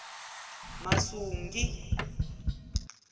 masungi